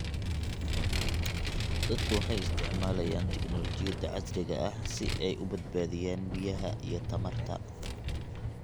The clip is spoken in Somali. Dadku waxay isticmaalayaan tignoolajiyada casriga ah si ay u badbaadiyaan biyaha iyo tamarta.